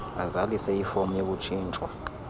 azalise ifom yokutshintshwa